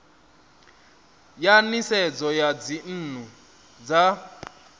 ya nisedzo ya dzinnu dza